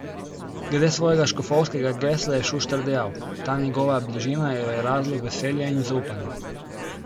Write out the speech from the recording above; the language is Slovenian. Glede svojega škofovskega gesla je Šuštar dejal: 'Ta njegova bližina je razlog veselja in zaupanja.